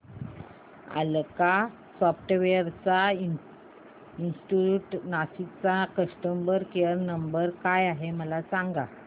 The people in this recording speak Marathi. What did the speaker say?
अलास्का सॉफ्टवेअर इंस्टीट्यूट नाशिक चा कस्टमर केयर नंबर काय आहे मला सांग